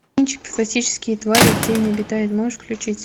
фантастические твари и где они обитают можешь включить